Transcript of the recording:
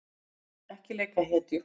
Ekki leika hetju